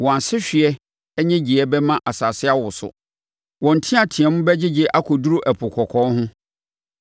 Wɔn asehweɛ nnyegyeeɛ bɛma asase awoso; wɔn nteateam bɛgyegye akɔduru Ɛpo Kɔkɔɔ ho.